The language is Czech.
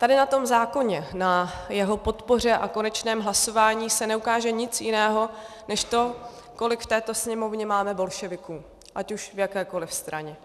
Tady na tom zákoně, na jeho podpoře a konečném hlasování se neukáže nic jiného než to, kolik v této Sněmovně máme bolševiků ať už v jakékoliv straně.